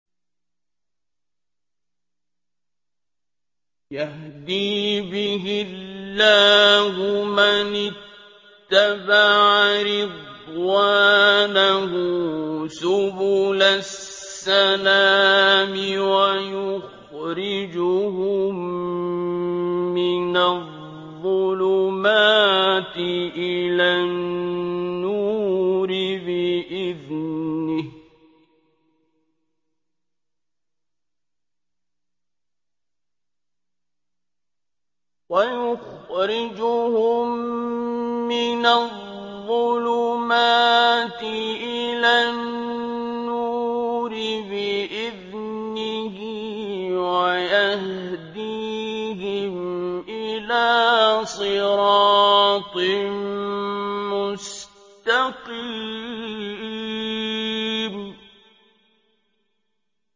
يَهْدِي بِهِ اللَّهُ مَنِ اتَّبَعَ رِضْوَانَهُ سُبُلَ السَّلَامِ وَيُخْرِجُهُم مِّنَ الظُّلُمَاتِ إِلَى النُّورِ بِإِذْنِهِ وَيَهْدِيهِمْ إِلَىٰ صِرَاطٍ مُّسْتَقِيمٍ